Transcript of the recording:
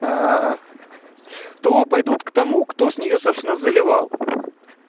то пойдут к тому кто с нее собственно заливал